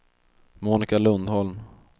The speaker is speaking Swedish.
Monika Lundholm